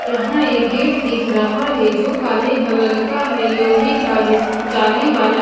यहां एक गेट दिख रहा है जो काले कलर का है लोहे का जिसकी जाली वाला--